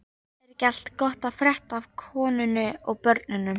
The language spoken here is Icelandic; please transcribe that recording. Er ekki allt gott að frétta af konunni og börnunum?